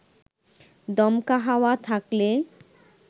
দমকা হাওয়া থাকলে